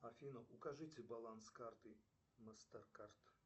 афина укажите баланс карты мастер кард